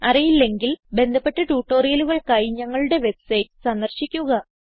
അറിയില്ലെങ്കിൽ ബന്ധപ്പെട്ട ട്യൂട്ടോറിയലുകൾക്കായി ഞങ്ങളുടെ വെബ്സൈറ്റ് സന്ദർശിക്കുക